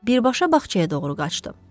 Birbaşa bağçaya doğru qaçdı.